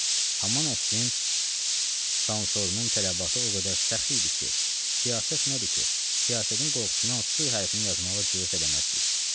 Haman əsrin sansorunun tələbatı o qədər səx idi ki, siyasət nədir ki, siyasətin qorxusundan s hərfinini yazmağa cürət eləməzdik.